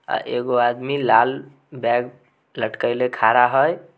अ एगो आदमी लाल बैग लटकेले खड़ा है ।